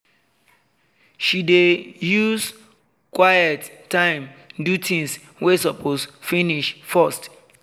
she dey use quiet time do things wey suppose finish first